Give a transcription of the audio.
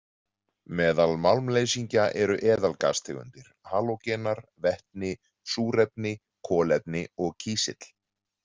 Meðal málmleysingja eru eðalgastegundir, halógenar, vetni, súrefni, kolefni og kísill.